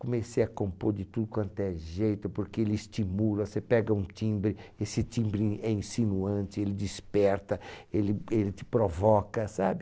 Comecei a compor de tudo quanto é jeito, porque ele estimula, você pega um timbre, esse timbre é insinuante, ele desperta, ele ele te provoca, sabe?